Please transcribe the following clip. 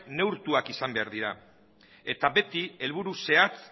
neurtuak izan behar dira eta beti helburu zehatz